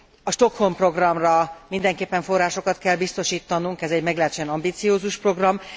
A Stockholm programra mindenképpen forrásokat kell biztosítanunk, ez egy meglehetősen ambiciózus program.